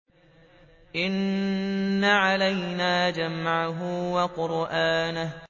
إِنَّ عَلَيْنَا جَمْعَهُ وَقُرْآنَهُ